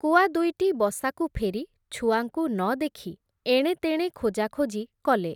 କୁଆଦୁଇଟି ବସାକୁ ଫେରି, ଛୁଆଙ୍କୁ ନ ଦେଖି, ଏଣେତେଣେ ଖୋଜାଖୋଜି କଲେ ।